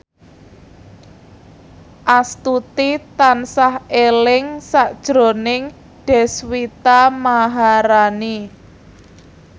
Astuti tansah eling sakjroning Deswita Maharani